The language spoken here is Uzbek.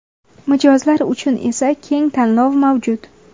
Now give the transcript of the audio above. Mijozlar uchun esa keng tanlov mavjud.